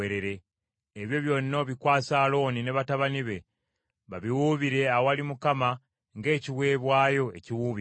ebyo byonna obikwase Alooni ne batabani be, babiwuubire awali Mukama ng’ekiweebwayo ekiwuubibwa.